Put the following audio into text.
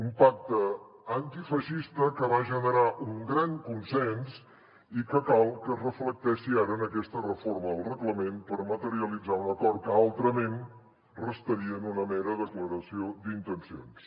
un pacte antifeixista que va generar un gran consens i que cal que es reflecteixi ara en aquesta reforma del reglament per materialitzar un acord que altrament restaria en una mera declaració d’intencions